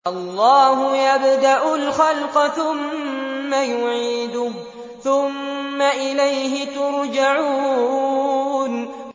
اللَّهُ يَبْدَأُ الْخَلْقَ ثُمَّ يُعِيدُهُ ثُمَّ إِلَيْهِ تُرْجَعُونَ